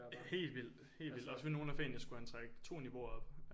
Helt vildt helt vildt også fordi nogle af fagene skulle han trække 2 niveauer op